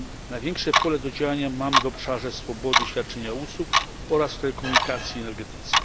Największe pole do działania mamy w obszarze swobody świadczenia usług oraz telekomunikacji i energetyce.